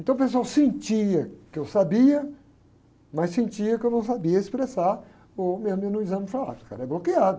Então o pessoal sentia que eu sabia, mas sentia que eu não sabia expressar, ou mesmo no exame falava, o cara é bloqueado.